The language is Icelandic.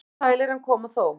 Seint koma sælir en koma þó.